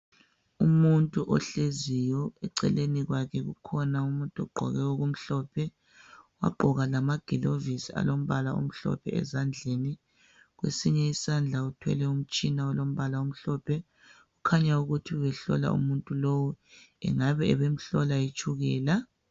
Umuntu ohleziyo, eceleni kwakhe kukhona umuntu ogqoke okumhlophe, wagqoka lamagilovusi alombala omhlophe ezandleni. Kwesinye isandla uthwele umtshina olombala omhlophe. Kukhanya ukuthi ubehlola umuntu lowo. Ingabe ubemhlola itshukela.